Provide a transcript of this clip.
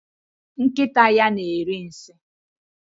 Nkịta ya na-eri nsị.